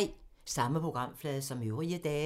Samme programflade som øvrige dage